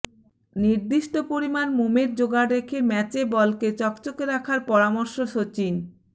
নির্দিষ্ট পরিমাণ মোমের জোগাড় রেখে ম্যাচে বলকে চকচকে রাখার পরামর্শ সচিন